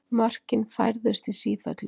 Mörkin færðust í sífellu.